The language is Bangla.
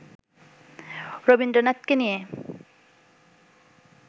রবীন্দ্রনাথকে নিয়ে